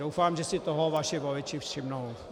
Doufám, že si toho vaši voliči všimnou.